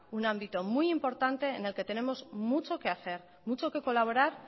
un ámbito muy importante en el que tenemos mucho que hacer mucho que colaborar